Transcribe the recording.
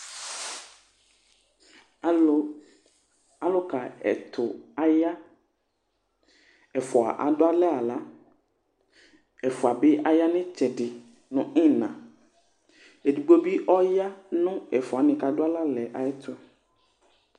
alu, aluka ɛtu aya, ɛfua adu alɛ aɣla, ɛfua bi aya nu itsɛdi nu ina , edigbo bi ɔya nu ɛfuɛ wʋani bʋa ku adu alɛ aɣla yɛ tu